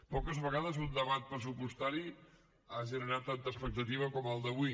poques vegades un debat pressupostari ha generat tanta expectativa com el d’avui